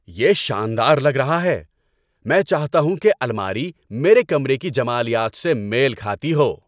یہ شاندار لگ رہا ہے! میں چاہتا ہوں کہ الماری میرے کمرے کی جمالیات سے میل کھاتی ہو۔